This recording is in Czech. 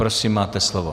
Prosím, máte slovo.